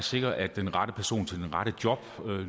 sikrer at den rette person til det rette job